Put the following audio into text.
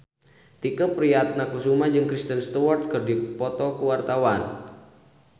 Tike Priatnakusuma jeung Kristen Stewart keur dipoto ku wartawan